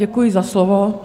Děkuji za slovo.